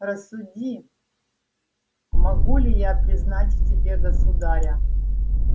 рассуди могу ли я признать в тебе государя